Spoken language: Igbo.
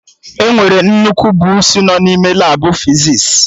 Enwere nnukwu buusu nọ n'ime Labụ fizis